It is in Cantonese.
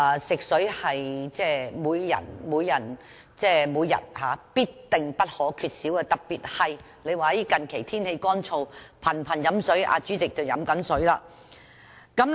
食水是每人每天必不可少的，特別是最近天氣乾燥，人們頻頻喝水——代理主席也在喝水。